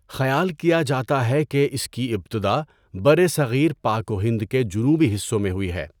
خیال کیا جاتا ہے کہ اس کی ابتدا برصغیر پاک و ہند کے جنوبی حصوں میں ہوئی ہے۔